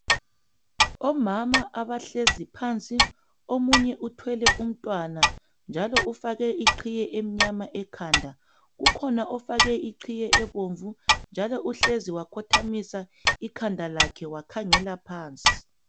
Omama abahlezi phansi omunye uthwele umntwana njalo ufake iqhiye emnyama ekhanda kukhona ofake iqhiye ebomvu njalo uhlezi wakhothamisa ikhanda lakhe wakhangela phansi.